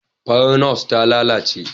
Farar Nurse ta lalace